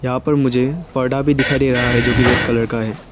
यहां पर मुझे पर्दा भी दिखाई दे रहा है जो की रेड कलर का है।